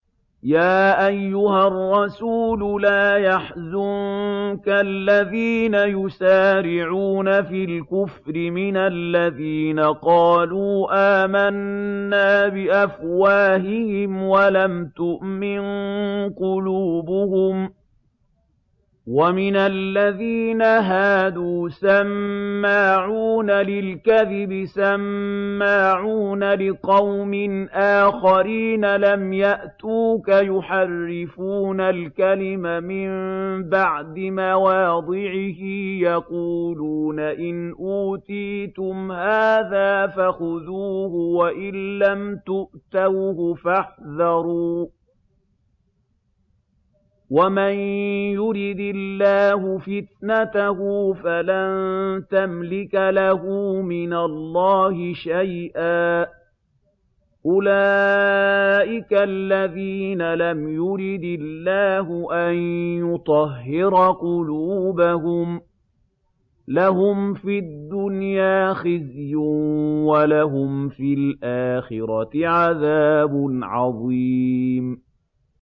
۞ يَا أَيُّهَا الرَّسُولُ لَا يَحْزُنكَ الَّذِينَ يُسَارِعُونَ فِي الْكُفْرِ مِنَ الَّذِينَ قَالُوا آمَنَّا بِأَفْوَاهِهِمْ وَلَمْ تُؤْمِن قُلُوبُهُمْ ۛ وَمِنَ الَّذِينَ هَادُوا ۛ سَمَّاعُونَ لِلْكَذِبِ سَمَّاعُونَ لِقَوْمٍ آخَرِينَ لَمْ يَأْتُوكَ ۖ يُحَرِّفُونَ الْكَلِمَ مِن بَعْدِ مَوَاضِعِهِ ۖ يَقُولُونَ إِنْ أُوتِيتُمْ هَٰذَا فَخُذُوهُ وَإِن لَّمْ تُؤْتَوْهُ فَاحْذَرُوا ۚ وَمَن يُرِدِ اللَّهُ فِتْنَتَهُ فَلَن تَمْلِكَ لَهُ مِنَ اللَّهِ شَيْئًا ۚ أُولَٰئِكَ الَّذِينَ لَمْ يُرِدِ اللَّهُ أَن يُطَهِّرَ قُلُوبَهُمْ ۚ لَهُمْ فِي الدُّنْيَا خِزْيٌ ۖ وَلَهُمْ فِي الْآخِرَةِ عَذَابٌ عَظِيمٌ